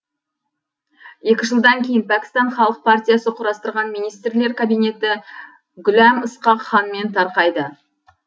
екі жылдан кейін пәкістан халық партиясы құрастырған министрлер кабинеті гүләм ысқақ ханмен тарқайды